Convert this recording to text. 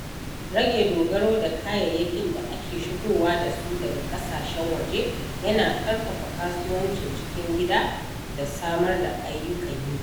Rage dogaro da kayayyakin da ake shigowa da su daga ƙasashen waje yana ƙarfafa kasuwancin cikin gida da samar da ayyukan yi.